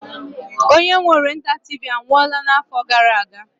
Onye nwe Orient TV anwụọla na-afọ gara-aga.